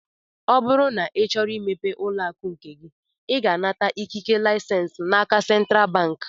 Ọ bụrụ na ị chọrọ imepe ụlọakụ nke gị, ị ga-anata ikike lisens n'aka sentral bank